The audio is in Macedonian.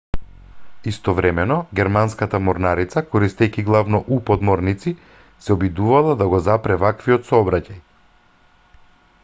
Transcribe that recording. истовремено германската морнарица користејќи главно у-подморници се обидувала да го запре ваквиот сообраќај